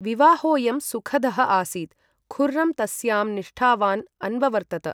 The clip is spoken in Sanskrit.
विवाहोयं सुखदः आसीत्, खुर्रम् तस्यां निष्ठावान् अन्ववर्तत।